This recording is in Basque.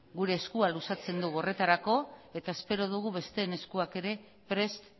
gure eskua luzatzen dugu horretarako eta espero dugu besteen eskuak ere prest